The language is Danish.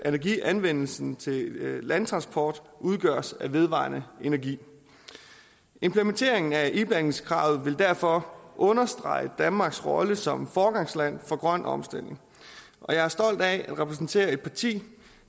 energianvendelsen til landtransport udgøres af vedvarende energi implementeringen af iblandingskravet vil derfor understrege danmarks rolle som foregangsland for grøn omstilling og jeg er stolt af at repræsentere et parti